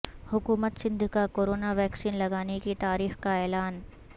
حکومت سندھ کا corona vaccine لگانے کی تاریخ کا اعلان